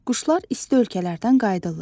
Quşlar isti ölkələrdən qayıdırlar.